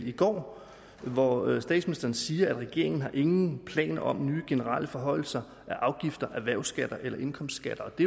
i går hvor statsministeren siger regeringen har ingen planer om nye generelle forhøjelser af afgifter erhvervsskatter eller indkomstskatter det